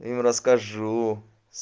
им расскажу